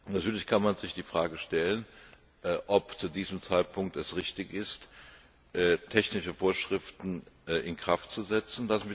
Natürlich kann man sich die Frage stellen, ob es zu diesem Zeitpunkt richtig ist, technische Vorschriften in Kraft zu setzen.